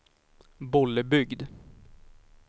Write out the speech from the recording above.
Bollebygd